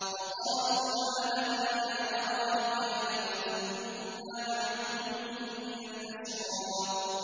وَقَالُوا مَا لَنَا لَا نَرَىٰ رِجَالًا كُنَّا نَعُدُّهُم مِّنَ الْأَشْرَارِ